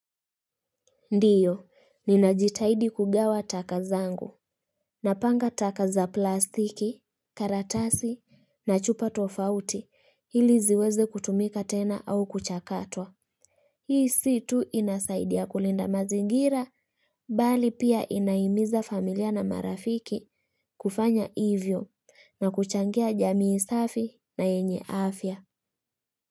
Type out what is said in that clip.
Ndiyo, ninajitahidi kugawa taka zangu. Napanga taka za plastiki, karatasi, na chupa tofauti ili ziweze kutumika tena au kuchakatwa. Hii si tu inasaidia kulinda mazingira bali pia inahimiza familia na marafiki kufanya ivyo na kuchangia jamii safi na yenye afya.